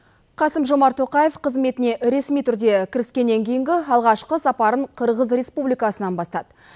қасым жомарт тоқаев қызметіне ресми түрде кіріскеннен кейінгі алғашқы сапарын қырғыз республикасынан бастады